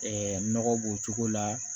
nɔgɔ b'o cogo la